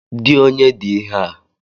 Di onye di ihe a?